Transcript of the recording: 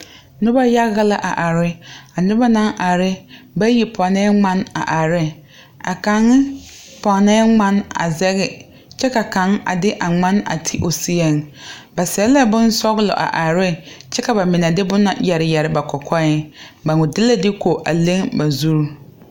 Noba yaga la a are noba naŋ are bayi pɔŋnɛɛ ŋmane a are ne a kaŋ pɔgnɛɛ ŋmane a zɛge kyɛ ka kaŋ a de a ŋmane a ti o seɛŋ ba seɛ la bonsɔglɔ a are neŋ kyɛ ka ba mine de boma yɛre yɛre ba kɔkɔɛŋ ba wa de la diko a leŋ a ba zuŋ.